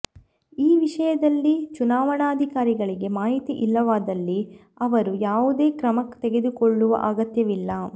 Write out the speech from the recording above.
ಈ ವಿಷಯದಲ್ಲಿ ಚುನಾವಣಾಧಿಕಾರಿಗಳಿಗೆ ಮಾಹಿತಿ ಇಲ್ಲವಾದಲ್ಲಿ ಅವರು ಯಾವುದೇ ಕ್ರಮ ತೆಗೆದುಕೊಳ್ಳುವ ಅಗತ್ಯವಿಲ್ಲ